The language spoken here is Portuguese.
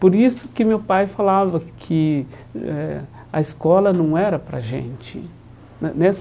Por isso que meu pai falava que eh a escola não era para a gente ne nessa.